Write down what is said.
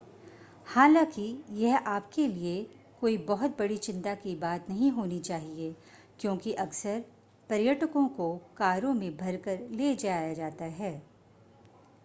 हालाँकि यह आप के लिए कोई बहुत बड़ी चिंता की बात नहीं होनी चाहिए क्योंकि अक्सर पर्यटकों को कारों में भरकर ले जाया जाता है।